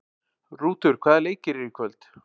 Rútur, hvaða leikir eru í kvöld?